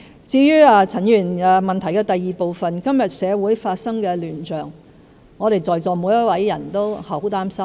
至於陳議員質詢的第二部分，今天社會發生的亂象，我們在座每一位都感到十分擔心。